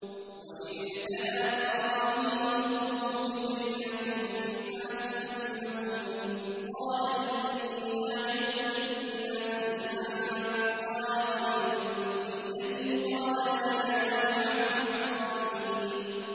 ۞ وَإِذِ ابْتَلَىٰ إِبْرَاهِيمَ رَبُّهُ بِكَلِمَاتٍ فَأَتَمَّهُنَّ ۖ قَالَ إِنِّي جَاعِلُكَ لِلنَّاسِ إِمَامًا ۖ قَالَ وَمِن ذُرِّيَّتِي ۖ قَالَ لَا يَنَالُ عَهْدِي الظَّالِمِينَ